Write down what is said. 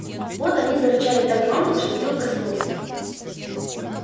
вот они зарычали так громко что билл проснулся